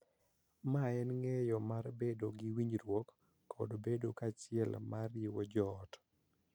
Ma en ng�eyo mar bedo gi winjruok kod bedo kanyachiel ma riwo jo ot.